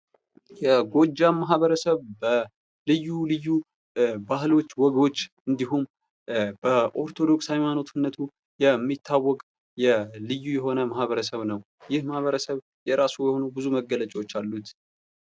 የጎጃም ማህበረሰብ ልዩ ልዩ ባህሎች፤ ወጎች እንዲሁም በኦርቶዶክስ ሀይማኖትነቱ የሚታወቅ ልዩ የሆነ ማህበረሰብ ነው። ይህ ማህበረሰብ የራሱ የሆነ ብዙ መገለጫዎች አሉት ።